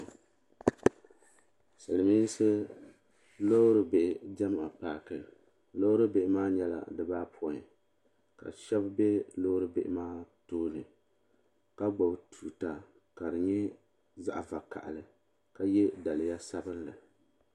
Silimiinsi loori bihi diɛma paaki loori bihi maa nyɛla dibaayɔpoin ka sheba be loori bihi maa tooni ka gbibi tuuta ka di nyɛ zaɣa vakahali ka ye daliya sabinli.